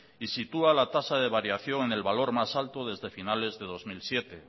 y sitúa la tasa de variación en el valor más alta desde finales de dos mil siete